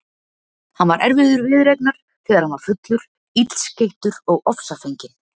Hann var erfiður viðureignar þegar hann var fullur, illskeyttur og ofsafenginn.